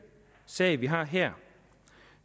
sag som vi har her